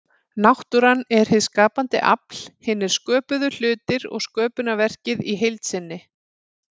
Náttúran er hið skapandi afl, hinir sköpuðu hlutir og sköpunarverkið í heild sinni.